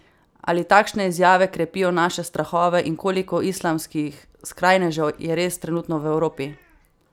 Ali takšne izjave krepijo naše strahove in koliko islamskih skrajnežev je res trenutno v Evropi?